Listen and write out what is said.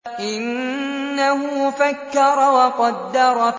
إِنَّهُ فَكَّرَ وَقَدَّرَ